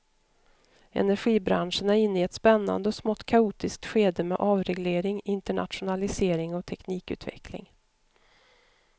Energibranschen är inne i ett spännande och smått kaotiskt skede med avreglering, internationalisering och teknikutveckling.